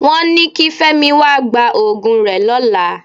Wọ́n ni kí Fẹ́mi wá gba òògùn rẹ lọ́la.